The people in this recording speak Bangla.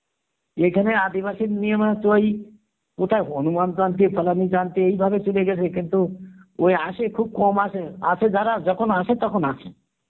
এখানে আদিবাসীর নিয়ম হচ্ছে ওই কথায় এই ভাবে চলে গেছে কিন্তু ওই আসে খুব কম আসে আসে যারা যখন আসে তখন আসে